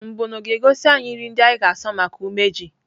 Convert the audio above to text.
Mbọnụ ga-egosi anyị nri ndị anyị ga-asọ maka umeji.